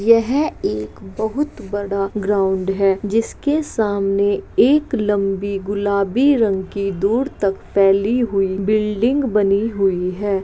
यहाँ एक बहुत बड़ा ग्राउंड है जिसके सामने एक लंबी गुलाबी रंग की दूर तक फैली हुई बिल्डिंग बनी हुई है।